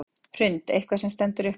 Hrund: Eitthvað sem stendur upp úr?